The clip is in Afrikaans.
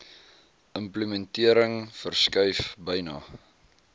implementering verskuif byna